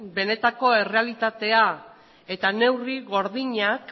benetako errealitatea eta neurri gordinak